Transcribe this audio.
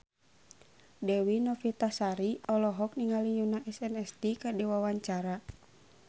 Dewi Novitasari olohok ningali Yoona SNSD keur diwawancara